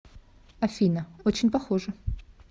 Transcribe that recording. афина очень похоже